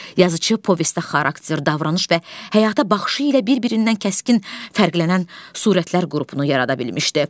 Yazıçı povestdə xarakter, davranış və həyata baxışı ilə bir-birindən kəskin fərqlənən surətlər qrupunu yarada bilmişdi.